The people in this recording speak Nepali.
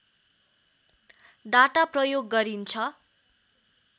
डाटा प्रयोग गरिन्छ